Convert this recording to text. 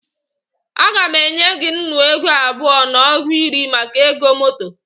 Aga m enye gị nnu ego abụọ na ọgụ iri maka ego moto